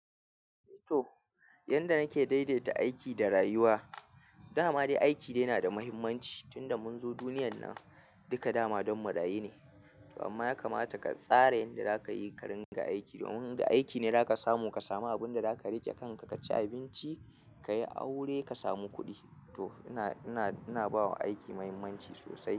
To, yanda nake daidaita aiki da rayuwa, dama dai aiki dai na da muhimmanci tunda mun zo duniyan nan. Duka dama don mu raye ne. Amma ya kamata ka tsara yadda zaka yi ka ringa aiki domin da aiki ne zaka samu abunda zaka riƙe kanka ka ci abinci, ka yi aure ka samu kuɗi. To ina, ina, ina bawa aiki muhimmanci sosai.